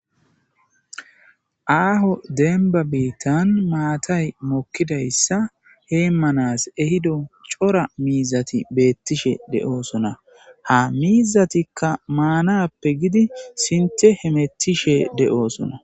Aaho denba biittan maatay mokkidayssa heemmanas ehido cora miizati beettishe de'oosona ha miizatikka maanappe gidi sinte hemettishe de'oosona.